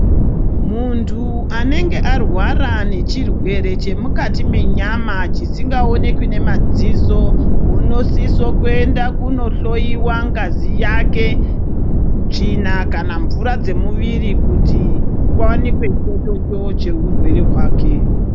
Muntu anenge arwara nechirwere chemumati mwenyama chisingaonekwi ngemadziso unosise kuenda kohloiwa ngazi yake tsvina kanamvura dzemumwiri kuti kuwanikwe chochocho cheirwere hwake.